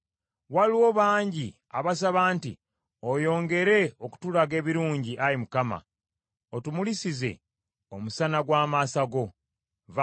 Waliwo bangi abasaba nti, “Oyongere okutulaga ebirungi, Ayi Mukama , otumulisize omusana gw’amaaso go.”